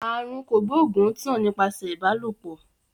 Àrùn kògbóògùn ń tàn nípasẹ̀ ìbálòpọ̀